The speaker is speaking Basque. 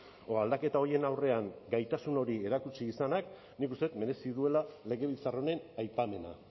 edo aldaketa horien aurrean gaitasun hori erakutsi izanak nik uste dut merezi duela legebiltzar honen aipamena